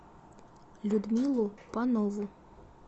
людмилу панову